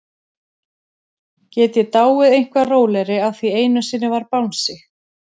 Get ég dáið eitthvað rólegri af því einu sinni var bangsi?